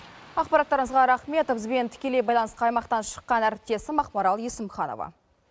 ақпараттарыңызға рақмет бізбен тікелей байланысқа аймақтан шыққан әріптесім ақмарал есімханова